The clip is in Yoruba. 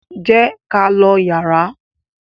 jé k'á ló yàrá.